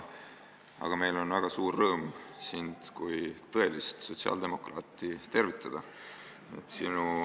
Aga meil on väga suur rõõm sind kui tõelist sotsiaaldemokraati tervitada!